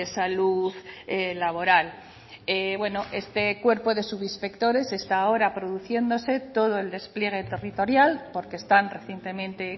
salud laboral bueno este cuerpo de subinspectores está ahora produciéndose todo el despliegue territorial porque están recientemente